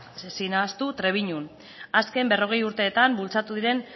ezin da ahaztu trebiñun azken berrogei urteetan bultzatu diren